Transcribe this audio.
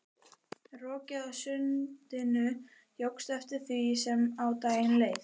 Rokið á sundinu jókst eftir því sem á daginn leið.